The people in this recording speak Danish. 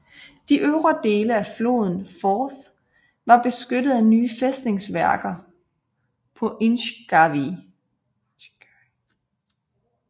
De øvre dele af floden Forth var beskyttet af nye fæstningsværker på Inchgarvie